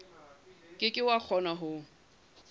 ke ke wa kgona ho